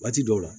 Waati dɔw la